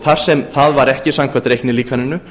þar sem það var ekki samkvæmt reiknilíkaninu